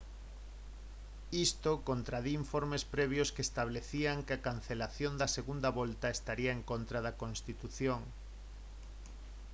isto contradí informes previos que establecían que a cancelación da segunda volta estaría en contra da constitución